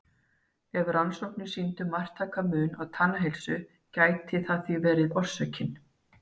Ef rannsóknir sýndu marktækan mun á tannheilsu gæti það því verið orsökin.